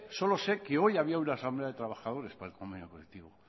solo sé que hoy había una asamblea de trabajadores para el convenio colectivo